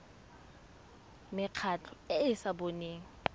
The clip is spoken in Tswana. mekgatlho e e sa boneng